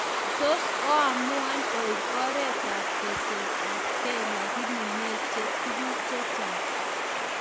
tos oamuan oib oret ab teset ab key lagini meche tuguk chechang